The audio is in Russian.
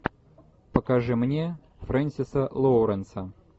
покажи мне френсиса лоуренса